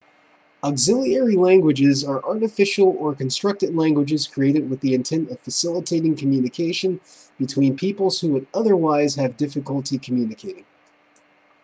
auxiliary languages are artificial or constructed languages created with the intent of facilitating communication between peoples who would otherwise have difficulty communicating